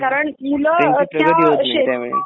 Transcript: कारण मुलं अशा क्षे